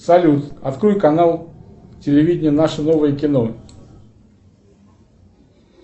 салют открой канал телевидения наше новое кино